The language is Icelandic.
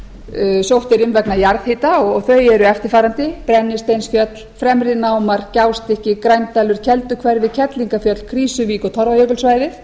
sótt er um vegna jarðhita og þau eru eftirfarandi brennisteinsfjöll fremri námar gjástykki grændalur kelduhverfi kerlingarfjöll krýsuvík og torfajökulssvæðið